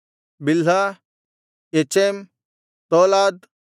ಬಿಲ್ಹ ಎಚೆಮ್ ತೋಲಾದ್